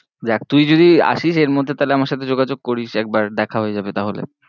দেখ তুই যদি আশীস এর মধ্যে তাহলে আমার সাথে যোগাযোগ করিস একবার, দেখা হয়েযাবে তাহলে।